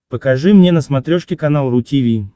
покажи мне на смотрешке канал ру ти ви